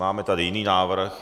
Máme tady jiný návrh?